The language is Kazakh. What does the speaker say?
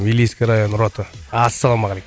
илийский район рота ассалаумағалейкум